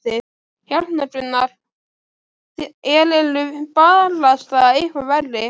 Hérna Gunnar, þér eruð barasta eitthvað verri!